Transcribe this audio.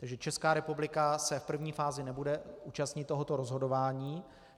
Česká republika se v první fázi nebude účastnit tohoto rozhodování.